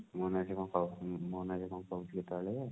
ମୋ ନା ରେ ସିଏ କଣ ମୋ ନା ରେ ସିଏ କଣ କହୁଥିଲେ ସେତେବେଳେ?